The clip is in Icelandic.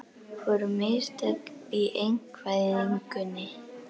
Voru mistök í einkavæðingunni?